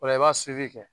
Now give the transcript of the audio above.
O la i b'a kɛ